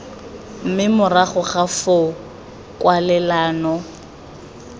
mme morago ga foo kwalelano